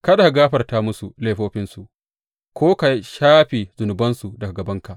Kada ka gafarta musu laifofinsu ko ka shafe zunubansu daga gabanka.